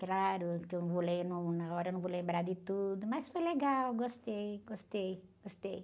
Claro que eu não lembro, num, na hora eu não vou lembrar de tudo, mas foi legal, gostei, gostei, gostei.